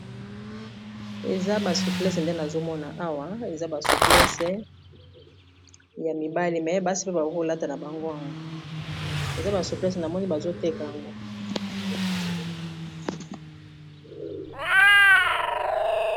Eza ba suplese nde nazomona awa eza ba suplese ya mibali me basi pe ba kolata na bango ango eza ba suplese na moni bazo teka yango.